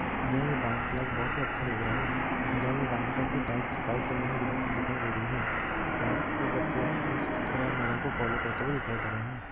यहाँ ये dance class बहुत ही अच्छा लग रहा है ये डांस क्लास की टाइल्स वाइट कलर में दिखाई दे रही है यहाँ ये बच्चे अच्छी तरह मैडम को फोलो करते हुए दिखाई दे रहे है।